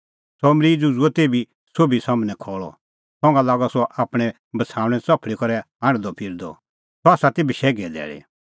सह मरीज़ उझ़ुअ तेभी सोभी सम्हनै खल़अ संघा लागअ सह आपणैं बछ़ाऊणैं च़फल़ी करै हांढदअ फिरदअ सह ती बशैघे धैल़ी